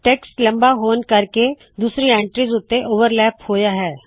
text ਲੰਬਾ ਹੋਣ ਕਰਕੇ ਦੂਸਰੀ ਐੰਟ੍ਰੀਜ਼ ਉੱਤੇ ਚੱੜਿਆ ਹੋਇਆ ਹੈ